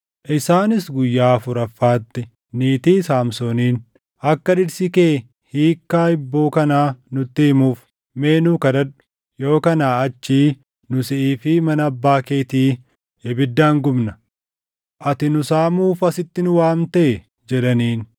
Isaanis guyyaa afuraffaatti niitii Saamsooniin, “Akka dhirsi kee hiikkaa hibboo kanaa nutti himuuf mee nuu kadhadhu; yoo kanaa achii nu siʼii fi mana abbaa keetii ibiddaan gubnaa. Ati nu saamuuf asitti nu waamtee?” jedhaniin.